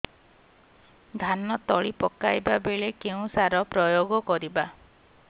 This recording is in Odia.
ଧାନ ତଳି ପକାଇବା ବେଳେ କେଉଁ ସାର ପ୍ରୟୋଗ କରିବା